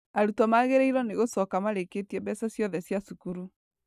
Arutwo magĩrĩirwo nĩgũcoka marĩkĩtie mbeca cĩothe cia cukuru.